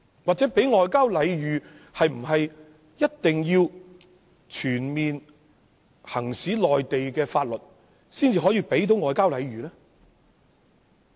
或者是否一定要在該處全面行使內地法律，才能算是給予外交禮遇？